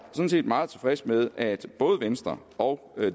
meget tilfreds med at både venstre og